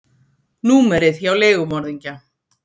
númerið hjá leigumorðingja.